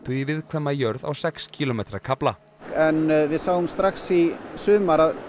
í viðkvæma jörð á sex kílómetra kafla en við sáum strax í sumar að